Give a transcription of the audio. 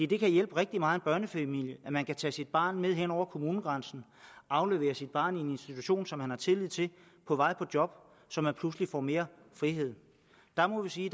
det kan hjælpe rigtig mange børnefamilier at man kan tage sit barn med hen over kommunegrænsen aflevere sit barn i en institution som man har tillid til på vej på job så man pludselig får mere frihed der må vi sige at